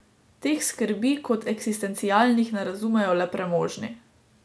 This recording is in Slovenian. Teh skrbi kot eksistencialnih ne razumejo le premožni.